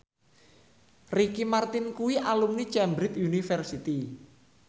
Ricky Martin kuwi alumni Cambridge University